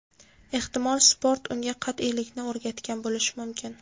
Ehtimol, sport unga qat’iylikni o‘rgatgan bo‘lishi mumkin.